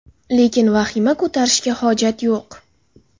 Lekin vahima ko‘tarishga hojat yo‘q.